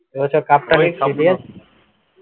এ বছর cup টা কে